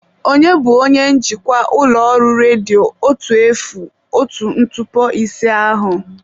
Ònye bụ onye njikwa ụlọ ọrụ redio otu efu otu ntụpọ ise ahụ?